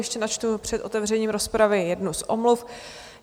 Ještě načtu před otevřením rozpravy jednu z omluv.